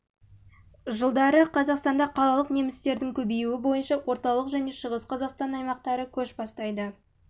жылдары қазақстанда қалалық немістердің көбеюі бойынша орталық және шығыс қазақстан аймақтары көш бастайды